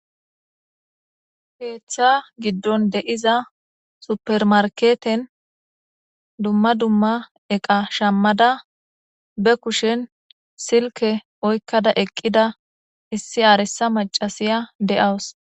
Heeththa giddon de'iza supermarketen dumma dumma eqa shammada be kushen silke oykkada eqqida issi aaresa macasiya de'aws.